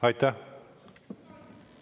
Aitäh!